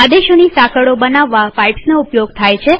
આદેશોની સાંકળો બનાવવા પાઈપ્સનો ઉપયોગ થાય છે